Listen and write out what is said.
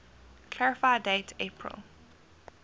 clarify date april